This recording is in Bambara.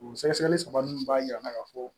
O sɛgɛsɛgɛli saba ninnu b'a jira an na ka fɔ